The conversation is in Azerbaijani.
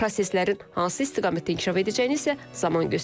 Proseslərin hansı istiqamətdə inkişaf edəcəyini isə zaman göstərəcək.